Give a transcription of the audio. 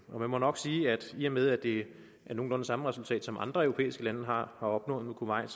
man må nok sige at i og med at det er nogenlunde samme resultat som andre europæiske lande har opnået med kuwait